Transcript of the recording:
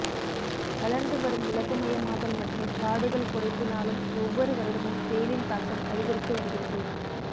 வளர்ந்து வரும் உலகமயமாதல் மற்றும் காடுகள் குறைப்பினாலும் ஒவ்வொரு வருடமும் வெயிலின் தாக்கம் அதிகரித்து வருகிறது